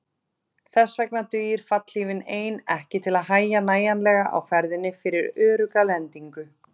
Þess vegna dugir fallhlífin ein ekki til að hægja nægjanlega á ferðinni fyrir örugga lendingu.